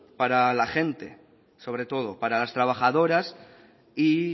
para la gente sobre todo para las trabajadoras y